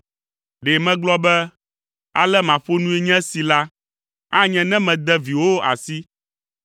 Ɖe megblɔ be, “Ale maƒo nui nye si” la, anye ne mede viwòwo asi.